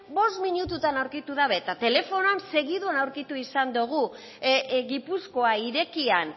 bost minututan aurkitu dabe eta telefonoan segituan aurkitu izan dogu gipuzkoa irekian